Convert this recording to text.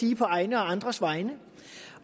sige på egne og andres vegne